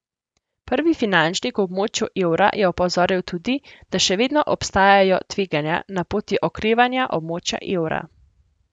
Prvi finančnik v območju evra je opozoril tudi, da še vedno obstajajo tveganja na poti okrevanja območja evra.